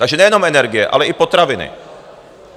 Takže nejenom energie, ale i potraviny.